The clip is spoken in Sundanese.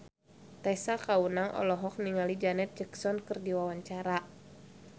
Tessa Kaunang olohok ningali Janet Jackson keur diwawancara